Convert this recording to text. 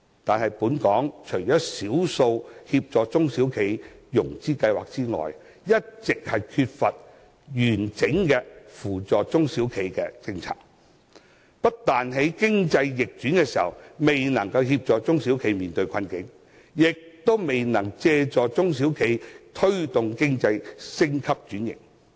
可是，本港只有少數協助中小企融資的計劃，一直缺乏扶助中小企的完整政策，不但在經濟逆轉時未能協助它們面對困境，亦未能借助它們推動經濟升級轉型。